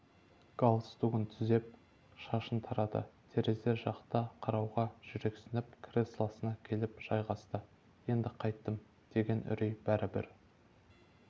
галстугін түзеп шашын тарады терезе жаққа қарауға жүрексініп креслосына келіп жайғасты енді қайттім деген үрей бәрібір